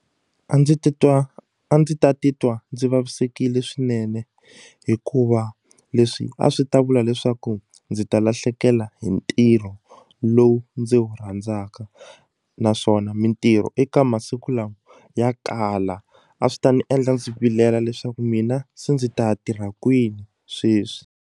A ndzi titwa a ndzi ta titwa ndzi vavisekile swinene hikuva leswi a swi ta vula leswaku ndzi ta lahlekela hi ntirho lowu ndzi wu rhandzaka naswona mitirho eka masiku lawa ya kala a swi ta ndzi endla ndzi vilela leswaku mina se ndzi ta ya tirha kwini sweswi.